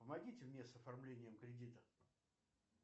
помогите мне с оформлением кредита